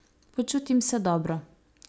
Počutim se dobro.